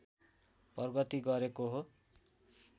प्रगति गरेको हो